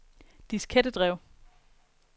diskettedrev